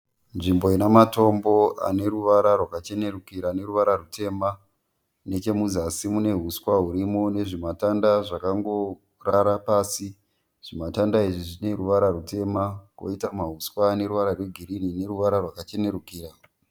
Nzvimbo ine matombo ane ruvara rwakachenerukira neruvara rutema. Nechemuzasi mune huswa hurimo nezvimatanda zvakangorara pasi. Zvimatanda izvi zvine ruvara rwutema koita mahuswa aneruvara rwegirinhi neruvara rwakachenerukira.